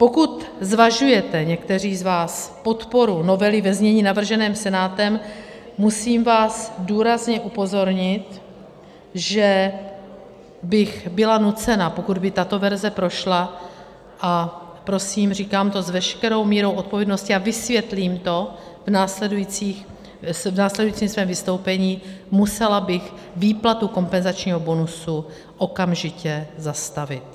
Pokud zvažujete někteří z vás podporu novely ve znění navrženém Senátem, musím vás důrazně upozornit, že bych byla nucena, pokud by tato verze prošla - a prosím, říkám to s veškerou mírou odpovědnosti a vysvětlím to v následujícím svém vystoupení - musela bych výplatu kompenzačního bonusu okamžitě zastavit.